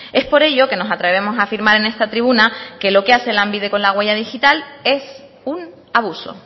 es por ello que nos atrevemos a afirmar en esta tribuna que lo que hace lanbide con la huella digital es un abuso